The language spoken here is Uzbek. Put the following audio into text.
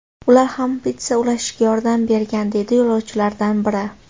Ular ham pitssa ulashishga yordam bergan”, deydi yo‘lovchilardan biri.